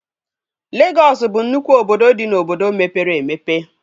Legọs bụ nnụkwụ obodo dị n'obodo mepere emepe